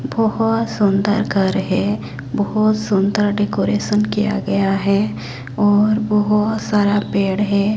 बोहोत सुंदर घर है बोहोत सुंदर डेकोरेशन किया गया है और बोहोत सारा पेड़ हैं।